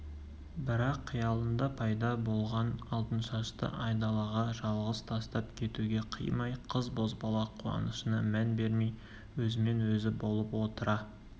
бірақ қиялында пайда болған алтыншашты айдалаға жалғыз тастап кетуге қимай қыз-бозбала қуанышына мән бермей өзімен өзі болып отыра